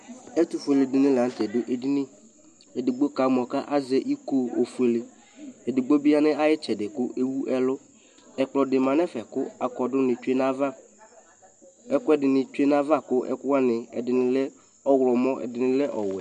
ɛtʊfʊélédɩ dʊ édɩnɩ édɩgbo kamɔ azɛ ɩko fʊélé édɩgbo bɩ yanʊ ayɩtsɛdɩ kʊ éwʊ ɛlʊ ɛkplɔdɩbɩ dʊ ɛfɛ kʊ akɔdʊnɩ tsʊé nayava ɛkʊɛdɩnɩ tsʊé nava kʊ ɛdɩnɩ lɛ ɔlɔmɔ kʊ ɛdɩnɩ lɛ ɔwɛ